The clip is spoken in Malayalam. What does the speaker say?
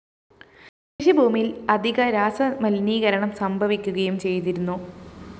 കൃഷിഭൂമിയില്‍ അധിക രാസമലിനീകരണം സംഭവിക്കുകയും ചെയ്തിരുന്നു